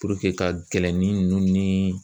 ka nkɛlɛnnin ninnu ni